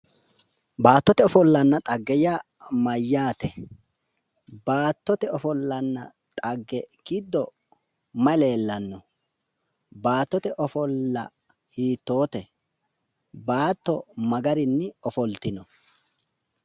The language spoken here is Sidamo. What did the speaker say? baattote ofollanna xagge yaa mayyaate? baattote ofollanna xagge giddo mayi leellanno? baattote ofolla hiittoote? baatto ma garinni ofoltino?